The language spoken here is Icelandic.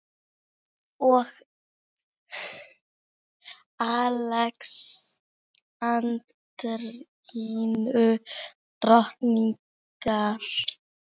og Alexandrínu drottningar.